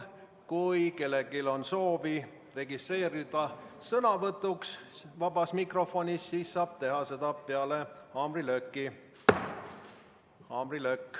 Kui kellelgi on soovi registreerida sõnavõtuks vabas mikrofonis, siis saab seda teha peale haamrilööki.